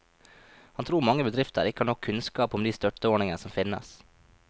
Han tror mange bedrifter ikke har nok kunnskap om de støtteordninger som finnes.